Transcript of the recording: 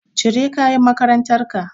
Cire kayan makarantar ka.